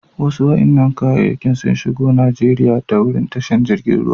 Wasu wa'inan kayakin sun shigo Nijeriya ta wurin tashar jirigin ruwa.